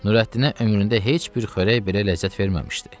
Nurəddinə ömründə heç bir xörək belə ləzzət verməmişdi.